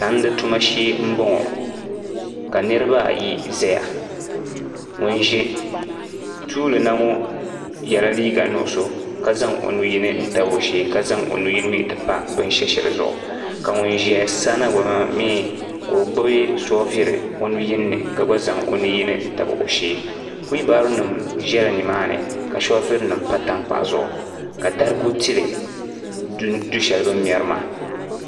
Tandi tuma shee m boŋɔ ka niriba ayi zaya ŋun ʒi tuuli na ŋɔ yela liiga nuɣuso ka zaŋ o nu yini tabi o shee ka zaŋ o nu yini mee ti pa binshesheli zuɣu ka ŋun ʒia sa na ŋɔ gba mee ka o gbibi soofiri nu yini ni ka zaŋ o nu yini tabi o shee fiibaro nima ʒɛla nimaani ka soofiri nima pa tankpaɣu zuɣu ka darigu tili du sheli bini mɛri maa.